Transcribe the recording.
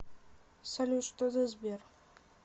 салют что за сбер